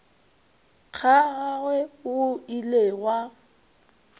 ga gagwe go ile gwa